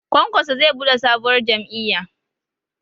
Kwankwaso zai buɗe sabuwar jam'iyya